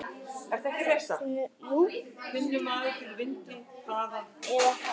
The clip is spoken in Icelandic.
Finnur maður fyrir vindi eða hraða?